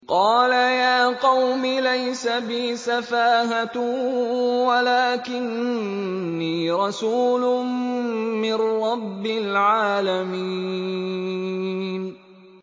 قَالَ يَا قَوْمِ لَيْسَ بِي سَفَاهَةٌ وَلَٰكِنِّي رَسُولٌ مِّن رَّبِّ الْعَالَمِينَ